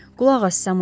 Qulaq as, Samuel.